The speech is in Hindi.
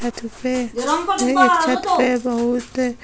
छत पे अ छत पे बहुत --